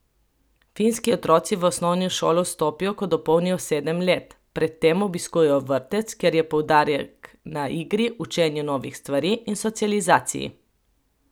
Finski otroci v osnovno šolo vstopijo, ko dopolnijo sedem let, pred tem obiskujejo vrtec, kjer je poudarek na igri, učenju novih stvari in socializaciji.